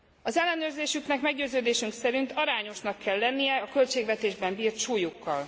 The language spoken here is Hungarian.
Az ellenőrzésüknek meggyőződésünk szerint arányosnak kell lennie a költségvetésben bírt súlyukkal.